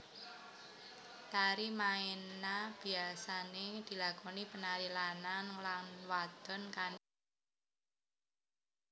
Tari maena biyasané dilakoni penari lanang lan wadon kanthi pasang pasangan